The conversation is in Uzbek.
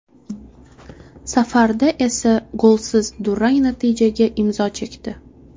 Safarda esa golsiz durang natijaga imzo chekdi.